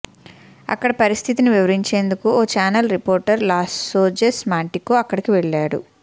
అక్కడి పరిస్థితిని వివరించేందుకు ఓ ఛానెల్ రిపోర్టర్ లాజోస్ మాంటికో అక్కడికి వెళ్లాడు